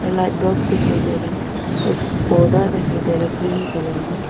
और एक light bulb दिखाई दे राहा है और एक थू पौधा दिखाई दे रहा है ग्रीन कलर में